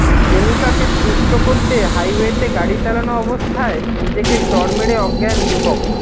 প্রেমিকাকে তুষ্ট করতে হাইওয়েতে গাড়ি চালানো অবস্থায় নিজেকে চড় মেরে অজ্ঞান যুবক